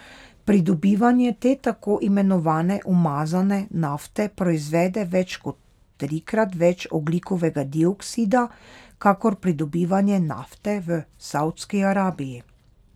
Pridobivanje te tako imenovane umazane nafte proizvede več kot trikrat več ogljikovega dioksida kakor pridobivanje nafte v Saudski Arabiji.